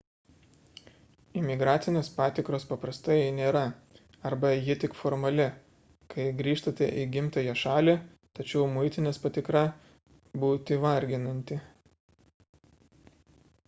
imigracinės patikros paprastai nėra arba ji tik formali kai grįžtate į gimtąją šalį tačiau muitinės patikra būti varginanti